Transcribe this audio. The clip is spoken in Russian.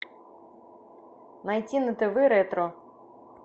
найти на тв ретро